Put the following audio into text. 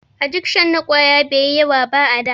Adikshon na ƙwayoyi bai yi yawa ba a da.